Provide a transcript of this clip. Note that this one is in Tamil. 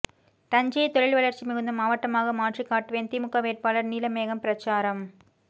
தஞ்சைைய தொழில் வளர்ச்சி மிகுந்த மாவட்டமாக மாற்றி காட்டுவேன் திமுக வேட்பாளர் நீலமேகம் பிரசாரம்